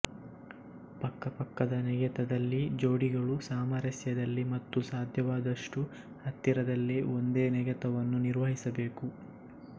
ಪಕ್ಕಪಕ್ಕದ ನೆಗೆತದಲ್ಲಿ ಜೋಡಿಗಳು ಸಾಮರಸ್ಯದಲ್ಲಿ ಮತ್ತು ಸಾಧ್ಯವಾದಷ್ಟು ಹತ್ತಿರದಲ್ಲಿ ಒಂದೇ ನೆಗೆತವನ್ನು ನಿರ್ವಹಿಸಬೇಕು